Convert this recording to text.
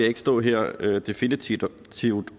ikke stå her definitivt